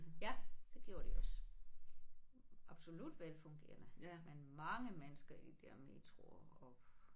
Ja det gjorde de også. Absolut velfungerende men mange mennesker i der metroer og